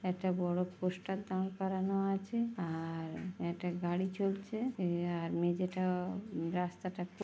একটা বড় পোস্টার দার করানো আছে আ-আ-আর একটা গাড়ি চলছে এ আর মেঝেটাও রাস্তাটা খু--